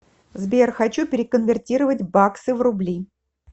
сбер хочу переконвертировать баксы в рубли